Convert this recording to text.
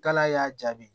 Kalaya y'a jaabi